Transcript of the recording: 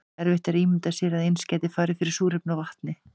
erfitt er að ímynda sér að eins gæti farið fyrir súrefni og vatni